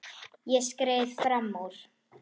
Ég skreið fram úr.